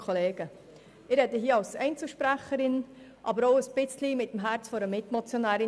Ich spreche hier als Einzelsprecherin, aber auch mit dem Herz als Mitmotionärin.